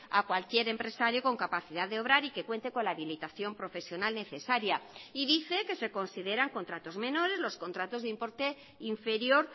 a cualquier empresario con capacidad de obrar y que cuente con la habilitación profesional necesaria y dice que se consideran contratos menores los contratos de importe inferior